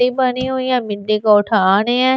बनी हुई है मिट्टी को उठा रहे हैं।